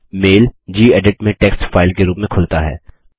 mail gedit में text file के रूप में खुलता है